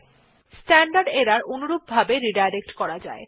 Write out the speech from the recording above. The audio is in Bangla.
স্ট্যান্ডার্ড এরর অনুরূপভাবে রিডাইরেক্ট করা যায়